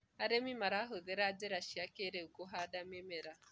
arĩmi marahuthira njira cia kĩiriu kuhanda mĩmera